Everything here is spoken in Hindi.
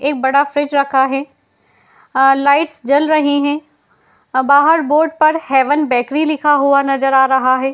एक बड़ा फ्रिज रखा है। लाइट्स जल रही हैं। बाहर बोर्ड पर हेवन बेकरी लिखा हुआ नजर आ रहा है।